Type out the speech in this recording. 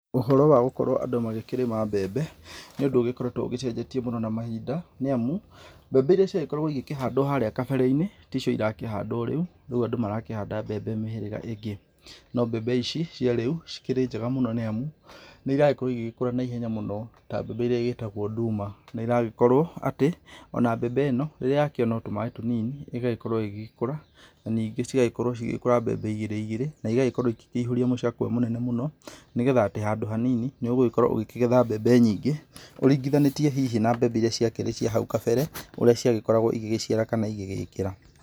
Ũhoro wa gũkorwo andũ magĩkĩrĩma mbembe, nĩ ũndũ ũgĩkoretwo ũgĩcenjetie mũno na mahinda, nĩ amu, mbembe irĩa ciagĩkoragwo igĩkĩhandwo harĩa gabere-inĩ, ticio irakĩhandwo rĩu, andũ marakĩhanda mbembe mĩhĩrĩga ĩngĩ. No mbembe ici cia rĩu, cikĩrĩ njega mũno nĩ amu, nĩ iragĩkorwo igĩgĩkũra na ihenya mũno ta mbembe ĩrĩa ĩtagwo nduma. Nĩ ĩragĩkorwo atĩ, ona mbembe ĩno, rĩrĩa yakĩona o tũmaĩ tũnini, ĩgagĩkorwo ĩgĩkũra, na ningĩ cigagĩkorwo cigĩkũra mbembe igĩrĩ igĩrĩ, na igagĩkorwo igĩkĩihũria mũcakwe mũnene mũno, nĩgetha atĩ handũ hanini, nĩ ũgũgĩkorwo ũgĩkĩgetha mbembe nyingĩ, ũringithanĩtie hihi na mbembe iria ciakĩrĩ cia hau kabere, ũrĩa ciagĩkoragwo igĩgĩciara kana igĩgĩkĩra.